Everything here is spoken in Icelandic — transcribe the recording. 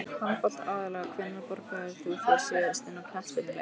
Handbolta aðallega Hvenær borgaðir þú þig síðast inn á knattspyrnuleik?